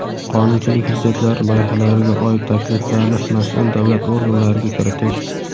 qonunchilik hujjatlari loyihalariga oid takliflarni mas’ul davlat organlariga kiritish;.